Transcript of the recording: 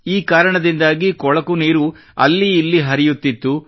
ಈ ಕಾರಣದಿಂದಾಗಿ ಕೊಳಕು ನೀರು ಅಲ್ಲಿ ಇಲ್ಲಿ ಹರಿದಾಡುತ್ತಿತ್ತು